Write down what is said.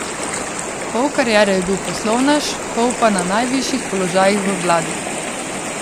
Pol kariere je bil poslovnež, pol pa na najvišjih položajih v vladi.